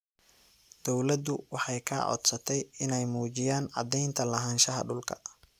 Dawladdu waxay ka codsatay inay muujiyaan caddaynta lahaanshaha dhulka.